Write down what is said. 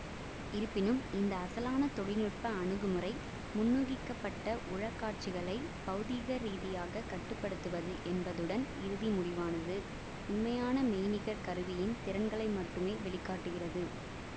இருப்பினும் இந்த அசலான தொழில் நுட்ப அணுகுமுறை முன்னூகிக்கப்பட்ட உளக்காட்சிகளை பௌதீகரீதியாக கட்டு படுத்துவது என்பதுடன் இறுதி முடிவானது உண்மையான மெய்நிகர் கருவியின் திறன்களை மட்டுமே வெளி காட்டுகிறது